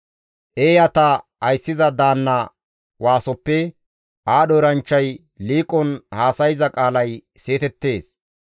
Eeyata ayssiza daanna waasoppe aadho eranchchay liiqon haasayza qaalay seetettees.